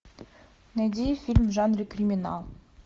найди фильм в жанре криминал